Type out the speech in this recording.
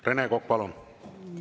Rene Kokk, palun!